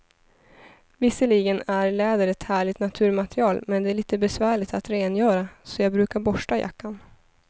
Visserligen är läder ett härligt naturmaterial, men det är lite besvärligt att rengöra, så jag brukar borsta jackan.